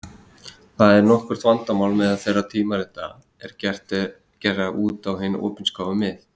Þetta er nokkurt vandamál meðal þeirra tímarita er gera út á hin opinskáu mið.